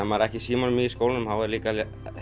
maður er ekki í símanum í skólanum þá er líka